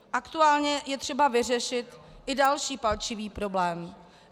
Aktuálně je třeba vyřešit i další palčivý problém.